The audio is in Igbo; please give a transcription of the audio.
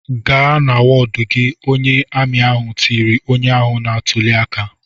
"Gaa na wọdụ gị!" Onye amị ahụ tiri onye ahụ na-atụli aka.